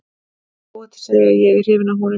Það er óhætt að segja að ég er hrifinn af honum.